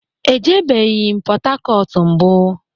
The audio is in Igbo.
E ebeghi m Pọtakọtu mbu